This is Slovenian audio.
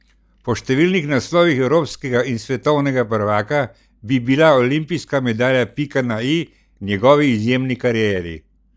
Po številnih naslovih evropskega in svetovnega prvaka bi bila olimpijska medalja pika na i njegovi izjemni karieri.